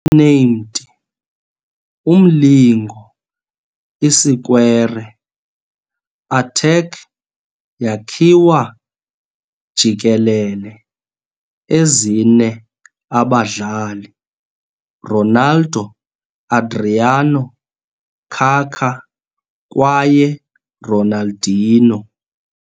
Nicknamed "Umlingo Isikwere", attack yakhiwa jikelele ezine abadlali- Ronaldo, Adriano, Kaká kwaye Ronaldinho.